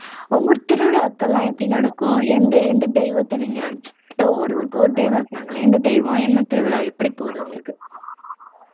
உங்க ஊர் திருவிழாக்கள் எல்லாம் எப்படி நடக்கும் எந்த எந்த தெய்வத்தை நீங்க ஒவ்வொரு ஊருக்கும் ஒரு தெய்வம் இருப்பாங்களாம் எந்த தெய்வம் என்ன திருவிழா எப்படி போகுது உங்களுக்கு